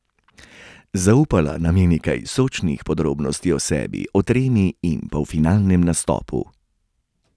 Zaupala nam je nekaj sočnih podrobnosti o sebi, o tremi in polfinalnem nastopu.